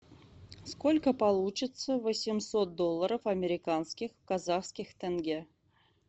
сколько получится восемьсот долларов американских в казахских тенге